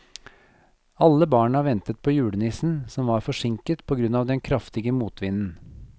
Alle barna ventet på julenissen, som var forsinket på grunn av den kraftige motvinden.